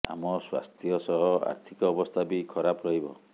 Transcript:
ଆମ ସ୍ୱାସ୍ଥ୍ୟ ସହ ଆର୍ଥିକ ଅବସ୍ଥା ବି ଖରାପ ରହିବ